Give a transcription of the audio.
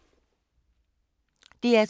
DR2